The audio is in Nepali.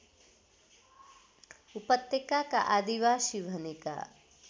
उपत्यकाका आदिवासी भनेका